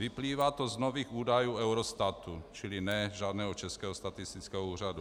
Vyplývá to z nových údajů Eurostatu - čili ne žádného Českého statistického úřadu.